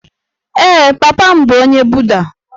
Ee, papa m bụ onye Buda